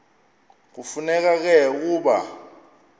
kufuneka ke ukuba